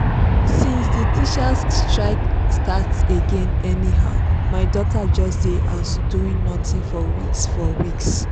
since the teachers strike start again anyhow my daughter just dey house doing nothing for weeks for weeks